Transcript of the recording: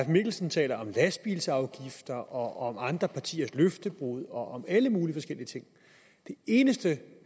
mikkelsen taler om lastbilafgifter om andre partiers løftebrud og om alle mulige forskellige ting det eneste